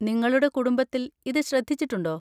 നിങ്ങളുടെ കുടുംബത്തിൽ ഇത് ശ്രദ്ധിച്ചിട്ടുണ്ടോ?